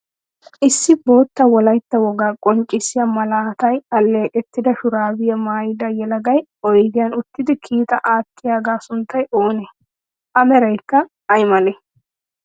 Issi bootta wolaytta wogaa qonccissiya malaatay alleeqettida shuraabiya mayida yelagay oydiyan uttidi kiitaa aattiyaagaa sunttay oonee? A merayikka ay malee?